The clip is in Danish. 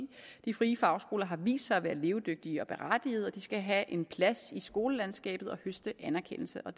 de frie fagskoler har vist sig at være levedygtige og berettigede og de skal have en plads i skolelandskabet og høste anerkendelse og